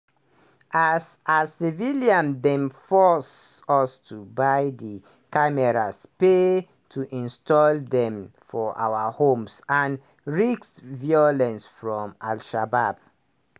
"as "as civilians dem force us to buy di cameras pay to install dem for our homes and risk violence from al-shabaab.